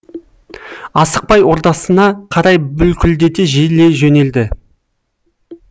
асықпай ордасына қарай бүлкілдете желе жөнелді